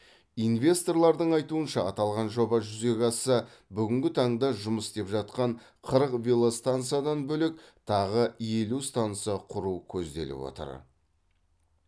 инвесторлардың айтуынша аталған жоба жүзеге асса бүгінгі таңда жұмыс істеп жатқан қырық велостансадан бөлек тағы елу станса құру көзделіп отыр